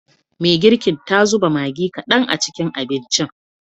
Me girkin ta zuba Maggi kadan a cikin abincin.